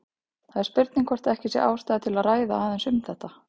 Það er spurning hvort ekki er ástæða til að ræða aðeins um þetta.